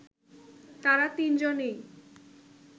তারা তিন-জনেই